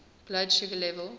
blood sugar level